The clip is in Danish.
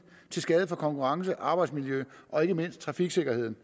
til skade for konkurrencen arbejdsmiljøet og ikke mindst trafiksikkerheden